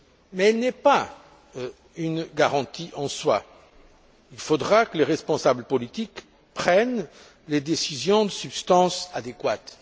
Mais elle n'est pas une garantie en soi il faudra que les responsables politiques prennent les décisions de substance adéquates.